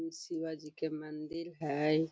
इ शिवाजी के मंदिर हेय।